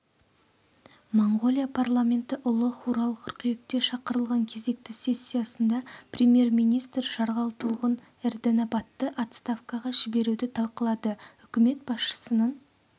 моңғолия парламенті ұлы хурал қыркүйекте шақырылған кезекті сессиясында премьер-министр жарғалтұлғын эрдэнэбатты отставкаға жіберуді талқылады үкімет басшысының